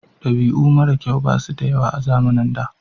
Dabi'u mara kyau basu da yawa a zamanin da